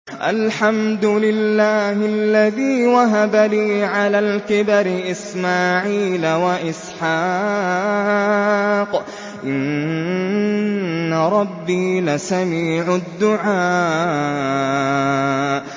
الْحَمْدُ لِلَّهِ الَّذِي وَهَبَ لِي عَلَى الْكِبَرِ إِسْمَاعِيلَ وَإِسْحَاقَ ۚ إِنَّ رَبِّي لَسَمِيعُ الدُّعَاءِ